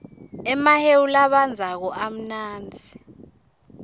emahewu labandzako amnanzi